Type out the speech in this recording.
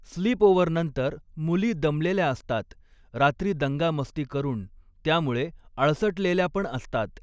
स्लीपओव्हरनंतर मुलीं दमलेल्या असतात रात्री दंगामस्तीकरून त्यामुळे आळसटलेल्यापण असतात.